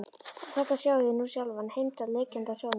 Og þarna sjáið þið nú sjálfan Heimdall liggjandi á sjónum.